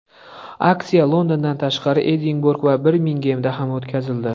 Aksiya Londondan tashqari, Edinburg va Birmingemda ham o‘tkazildi.